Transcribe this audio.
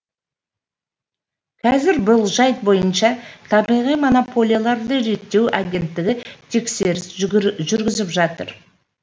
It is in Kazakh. қазір бұл жайт бойынша табиғи монополияларды реттеу агенттігі тексеріс жүргізіп жатыр